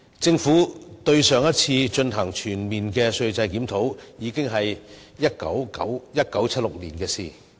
政府上次就稅制進行全面檢討，已是1976年的事情。